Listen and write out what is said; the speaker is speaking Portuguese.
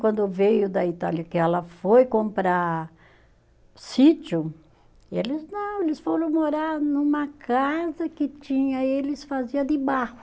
Quando veio da Itália, que ela foi comprar sítio, eles, não, eles foram morar numa casa que tinha, eles fazia de barro.